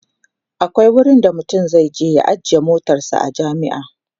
akwai wurin da mutum zai je ya ajiye motarsa a jami'a